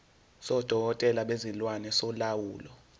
sodokotela bezilwane solawulo